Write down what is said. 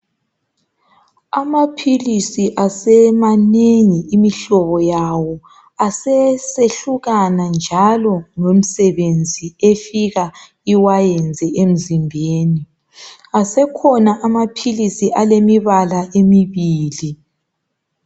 Amaphilisi asemanengi imihlobo yawo, asesehlukana njalo ngomsebenzi efika iwayenze emzimbeni, asekhona amaphilisi alemibala emibili.